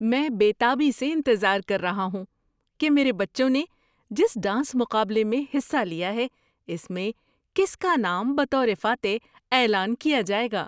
میں بے تابی سے انتظار کر رہا ہوں کہ میرے بچوں نے جس ڈانس مقابلے میں حصہ لیا ہے اس میں کس کا نام بطور فاتح اعلان کیا جائے گا۔